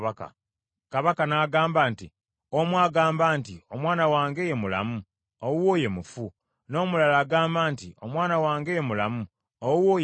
Kabaka n’agamba nti, “Omu agamba nti, ‘Omwana wange ye mulamu, owuwo ye mufu,’ n’omulala agamba nti, ‘Omwana wange ye mulamu, owuwo ye mufu.’ ”